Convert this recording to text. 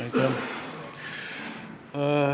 Aitäh!